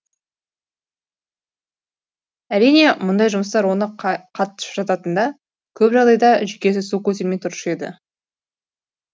әрине мұндай жұмыстар оны қатты шаршататын да көп жағдайда жүйкесі су көтермей тұрушы еді